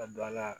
Ka dɔ la